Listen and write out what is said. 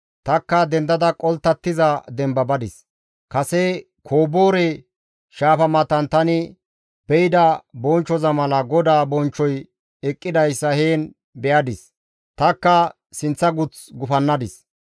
Tanikka dendada qolttattiza demba badis; kase Koboore Shaafa matan tani be7ida bonchchoza mala GODAA bonchchoy eqqidayssa heen be7adis; tanikka sinththa guth gufannadis.